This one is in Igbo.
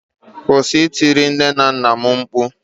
kwụsị itiri nne na nna'm mkpu